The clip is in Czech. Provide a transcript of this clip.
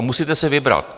A musíte si vybrat.